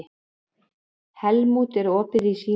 Helmút, er opið í Símanum?